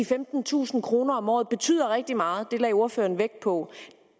femtentusind kroner om året betyder rigtig meget det lagde ordføreren vægt på